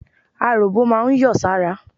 Aròbó máa ń yọ̀ sára.